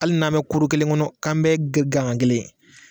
Hali n'an bɛ kuru kelen kɔnɔ an bɛ gagan kelen ye